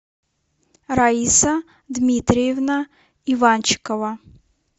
раиса дмитриевна иванчикова